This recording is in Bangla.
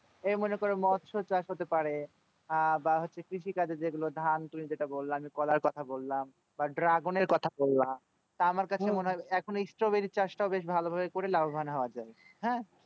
এই মনে করো মৎস চাষ হতে পারে বা হচ্ছে কৃষি কাজের যেগুলো ধান তুমিই যেটা বল্ল কলার কথা আমি বললাম বা dragon এর কথা বললাম তা এখন stroberi চাষ তও করে লাভও বন্ হয় যাই হ্যাঁ